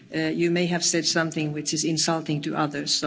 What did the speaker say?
you may have said something that is insulting to others.